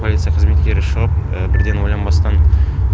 полиция қызметкері шығып бірден ойланбастан